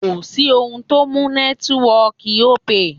Kò sí ohun tó mú nẹ́tíwọọ̀kì Opay.